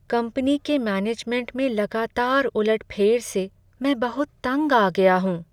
Company के management में लगातार उलट फेर से मैं बहुत तंग आ गाया हूँ।